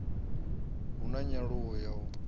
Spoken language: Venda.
hu na nyaluwo ya u